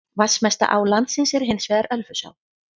Vatnsmesta á landsins er hins vegar Ölfusá.